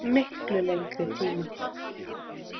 Miklu lengri tíma.